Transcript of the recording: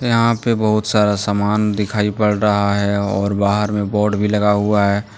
यहां पे बहुत सारा सामान दिखाई पड़ रहा है और बाहर में बोर्ड भी लगा हुआ है।